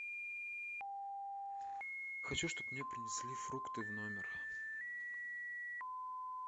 хочу чтоб мне принесли фрукты в номер